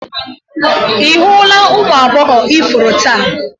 Ị hụla ụmụ agbọghọ ifuru taa?